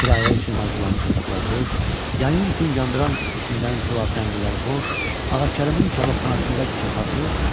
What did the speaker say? Kirayə üçün hazırlanmış otaqlar boş, yayın gün yandıran istisindən külaf-rənginlər boş, Ağakərimin kababxanasında kasadlıq.